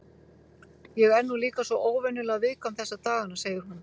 Ég er nú líka svo óvenjulega viðkvæm þessa dagana, segir hún.